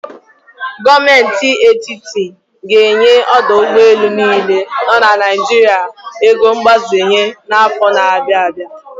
Gọọmenti Etitit ga enye ọdọ ụgbọelu niile nọ na Naijiria ego mgbazenye n'afọ na-abịa abịa.